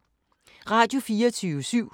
Radio24syv